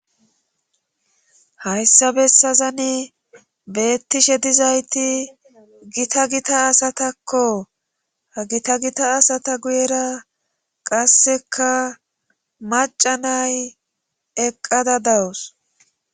hayssa bessazani beettishe dizayti gita gita asatakko ha gita gita asata guyera qasseka maca nay eqqada dawus